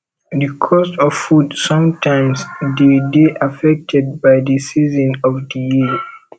the cost of food sometimes dey de affected by di season of di year